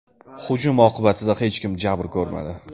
Hujum oqibatida hech kim jabr ko‘rmadi.